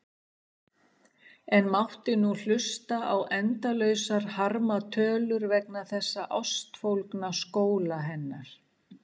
En mátti nú hlusta á endalausar harmatölur vegna þessa ástfólgna skóla hennar.